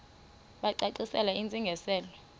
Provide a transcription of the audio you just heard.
bacacisele intsi ngiselo